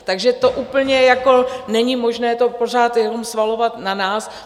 Takže to úplně jako není možné to pořád jenom svalovat na nás.